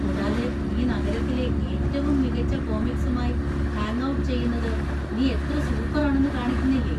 കൂടാതെ, നീ നഗരത്തിലെ ഏറ്റവും മികച്ച കോമിക്‌സുമായി ഹാംഗ്ഔട്ട് ചെയ്യുന്നത് നീ എത്ര സൂപ്പറാണെന്നു കാണിക്കുന്നില്ലേ.